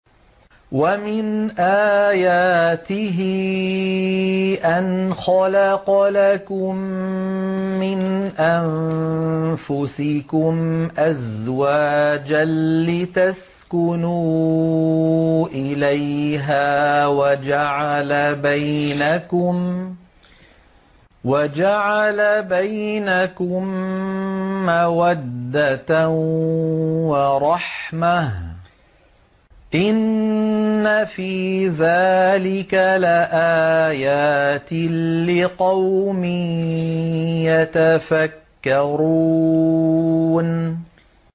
وَمِنْ آيَاتِهِ أَنْ خَلَقَ لَكُم مِّنْ أَنفُسِكُمْ أَزْوَاجًا لِّتَسْكُنُوا إِلَيْهَا وَجَعَلَ بَيْنَكُم مَّوَدَّةً وَرَحْمَةً ۚ إِنَّ فِي ذَٰلِكَ لَآيَاتٍ لِّقَوْمٍ يَتَفَكَّرُونَ